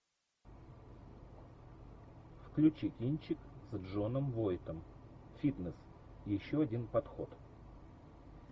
включи кинчик с джоном войтом фитнес еще один подход